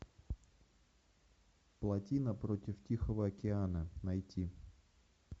плотина против тихого океана найти